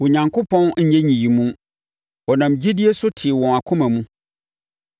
Onyankopɔn anyɛ nyiyimu; ɔnam gyidie so tee wɔn akoma mu.